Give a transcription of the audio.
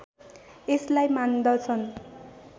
यसलाई मान्दछन्